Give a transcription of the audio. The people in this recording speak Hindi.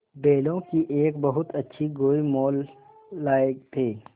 बैलों की एक बहुत अच्छी गोई मोल लाये थे